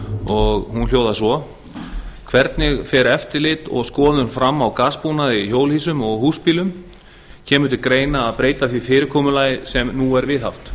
og hún hljóðar svo fyrstu hvernig fer eftirlit og skoðun fram á gasbúnaði í hjólhýsum og húsbílum annars kemur til greina að breyta því fyrirkomulagi sem nú er viðhaft